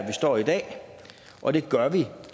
vi står i dag og det gør vi